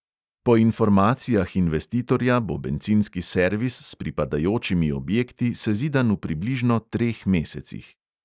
Po informacijah investitorja bo bencinski servis s pripadajočimi objekti sezidan v približno treh mesecih.